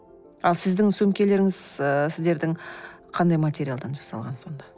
ал сіздің сөмкелеріңіз ы сіздердің қандай материалдан жасалған сонда